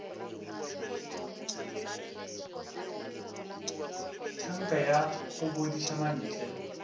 tanka ya go bodiša mantle